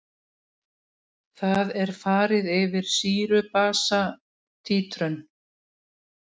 Lífsferill hennar hefst í eggi sem kallað er nit.